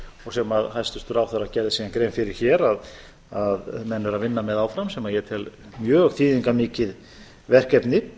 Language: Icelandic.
og sem hæstvirtur ráðherra gerði síðan grein fyrir hér að menn eru að vinna með áfram sem ég tel mjög þýðingarmikið verkefni